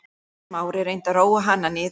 Smári reyndi að róa hana niður.